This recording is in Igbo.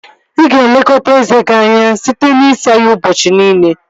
Ị ga-elekọta eze gị anya site n'isa ya ụbọchị niile